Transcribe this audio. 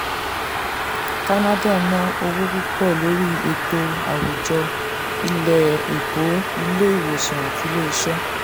canada ná owó púpọ̀ lórí ètò àwùjọ ilé-ẹ̀kọ́ ilé ìwòsàn àti iṣẹ́.